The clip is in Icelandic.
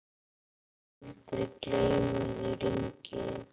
Mun aldrei gleyma þér, Ingi.